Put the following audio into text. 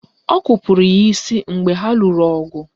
Ọ kupuru ya isi mgbe ha lụrụ ọgụ